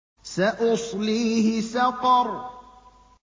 سَأُصْلِيهِ سَقَرَ